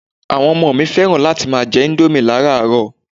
Àwọn Ọmọ mi fẹ́ràn láti máa jẹ indomie laràárọ̀